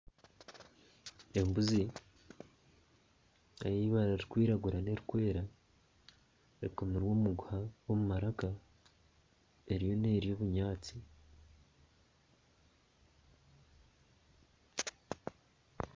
Embuzi eyibara ririkwiragura n'eririkwera ekomirwe omuguha omu maraka eriyo nerya obunyaatsi.